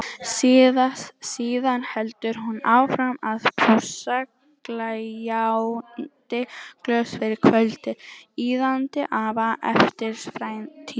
Síðan heldur hún áfram að pússa gljáandi glös fyrir kvöldið, iðandi af eftirvæntingu.